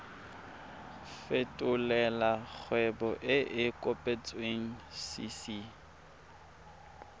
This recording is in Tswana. fetolela kgwebo e e kopetswengcc